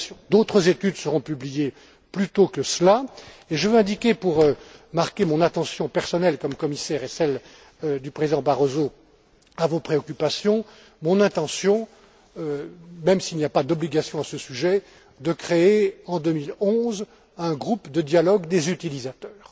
D'autres études seront publiées plus tôt que cela et je veux indiquer, pour marquer mon attention personnelle comme commissaire, et celle du président Barroso, à vos préoccupations, mon intention, même s'il n'y a pas d'obligation à ce sujet, de créer en 2011 un groupe de dialogue des utilisateurs.